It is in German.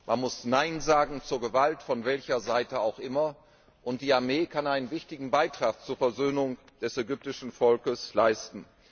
Man muss nein sagen zur Gewalt, von welche Seite auch immer, und die Armee kann einen wichtigen Beitrag zur Versöhnung des ägyptischen Volkes leisten.